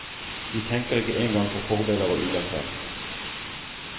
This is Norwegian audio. Vi tenker ikke engang på fordeler og ulemper.